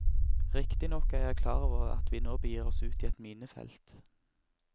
Riktignok er jeg klar over at vi nå begir oss ut i et minefelt.